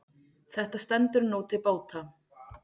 Þetta stendur nú til bóta.